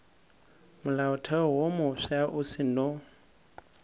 molaotheo wo mofsa o seno